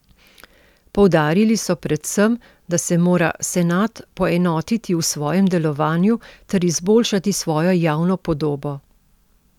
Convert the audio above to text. Poudarili so predvsem, da se mora senat poenotiti v svojem delovanju ter izboljšati svojo javno podobo.